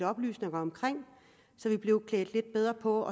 oplysninger om så vi blev klædt lidt bedre på